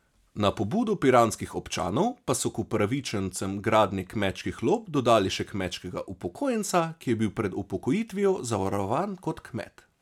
Na pobudo piranskih občanov pa so k upravičencem gradnje kmečkih lop dodali še kmečkega upokojenca, ki je bil pred upokojitvijo zavarovan kot kmet.